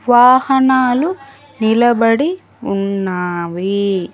వాహనాలు నిలబడి ఉన్నావి.